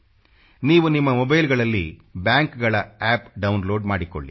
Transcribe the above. ನೀವು ನಿಮ್ಮ ಮೊಬೈಲ್ಗಳಲ್ಲಿ ಬ್ಯಾಂಕ್ಗಳ ಅಪ್ ಡೌನ್ಲೋಡ್ ಮಾಡಿಕೊಳ್ಳಿ